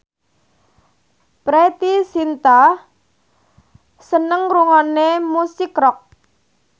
Preity Zinta seneng ngrungokne musik rock